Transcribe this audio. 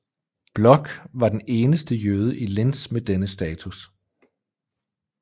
Bloch var den eneste jøde i Linz med denne status